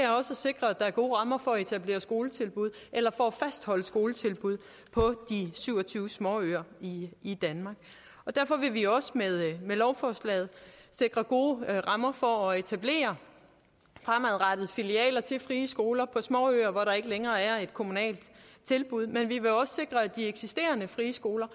sikre at der er gode rammer for at etablere skoletilbud eller for at fastholde skoletilbud på de syv og tyve småøer i i danmark derfor vil vi også med lovforslaget sikre gode rammer for fremadrettet at etablere filialer til frie skoler på småøer hvor der ikke længere er et kommunalt tilbud men vi vil også sikre at de eksisterende frie skoler